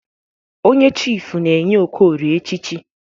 Onye chifụ na-enye Okorie echichi.